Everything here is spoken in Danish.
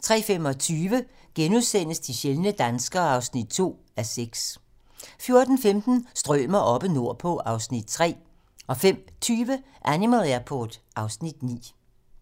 03:25: De sjældne danskere (2:6)* 04:15: Strømer oppe nordpå (Afs. 3) 05:20: Animal Airport (Afs. 9)